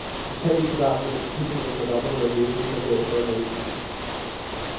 Utallige kvadratmeter tapet har hun ført op og ned ad væggene for bagefter at male disse.